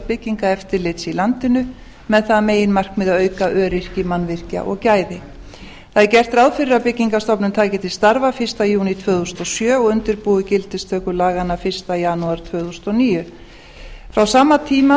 byggingareftirlits í landinu með það að meginmarkmiði að auka öryggi mannvirkja og gæði það er gert ráð fyrir að byggingarstofnun taki til starfa fyrsta júní tvö þúsund og sjö og undirbúi gildistöku laganna fyrsta janúar tvö þúsund og níu á sama tíma